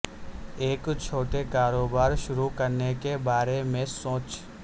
ایک چھوٹے کاروبار شروع کرنے کے بارے میں سوچ